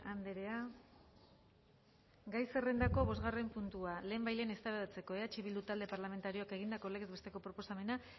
andrea gai zerrendako bosgarren puntua lehenbailehen eztabaidatzeko eh bildu talde parlamentarioak egindako legez besteko proposamena